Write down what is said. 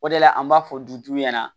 O de la an b'a fɔ dutigiw ɲɛna